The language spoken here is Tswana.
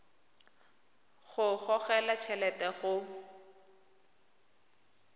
go gogelwa t helete go